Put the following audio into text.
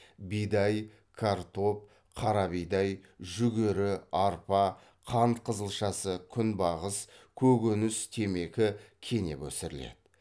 бидай картоп қара бидай жүгері арпа қант қызылшасы күнбағыс көкөніс темекі кенеп өсіріледі